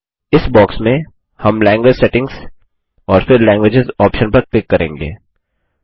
इस बॉक्स में हम लैंग्वेज सेटिंग्स और फिर लैंग्वेज आप्शन पर क्लिक करेंगे